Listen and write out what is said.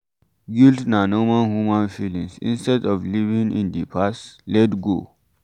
Guilt na normal human feelings, instead of living in di past, let go